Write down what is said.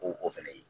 O o fɛnɛ ye